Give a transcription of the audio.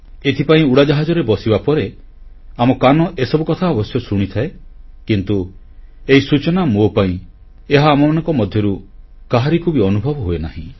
ଏଥିପାଇଁ ଉଡ଼ାଜାହାଜରେ ବସିବା ପରେ ଆମ କାନ ଏସବୁ କଥା ଅବଶ୍ୟ ଶୁଣିଥାଏ କିନ୍ତୁ ଏହି ସୂଚନା ମୋ ପାଇଁ ଏହା ଆମମାନଙ୍କ ମଧ୍ୟରୁ କାହାରିକୁ ବି ଅନୁଭବ ହୁଏନାହିଁ